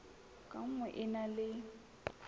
ka nngwe e na le